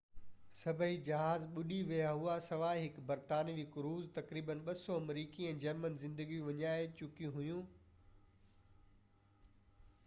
سڀئي جهاز ٻُڏي ويا هئا سواءِ هڪ برطانوي ڪروزر تقريباً 200 آمريڪي ۽ جرمن زندگيون وڃائجي چڪيون هيون